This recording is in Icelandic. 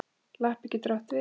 Lappi getur átt við